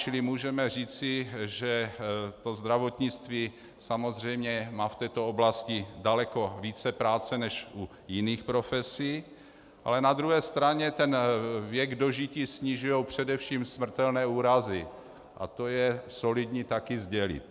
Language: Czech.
Čili můžeme říci, že to zdravotnictví samozřejmě má v této oblasti daleko více práce než u jiných profesí, ale na druhé straně ten věk dožití snižují především smrtelné úrazy a to je solidní taky sdělit.